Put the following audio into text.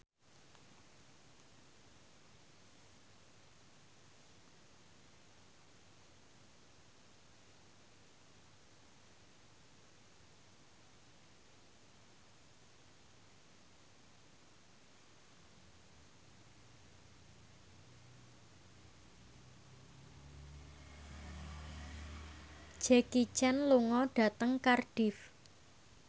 Jackie Chan lunga dhateng Cardiff